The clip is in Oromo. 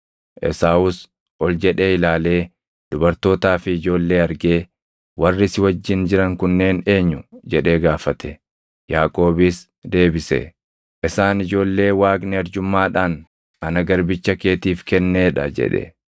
Esaawus ol jedhee ilaalee dubartootaa fi ijoollee argee, “Warri si wajjin jiran kunneen eenyu?” jedhee gaafate. Yaaqoobis deebise, “Isaan ijoollee Waaqni arjummaadhaan ana garbicha keetiif kennee dha” jedhe.